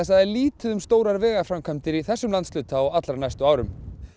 það er lítið um stórar vegaframkvæmdir í þessum landshluta á allra næstu árum